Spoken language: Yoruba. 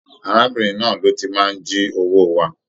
Arábìnrin náà ló ti n máa n jí owó wa.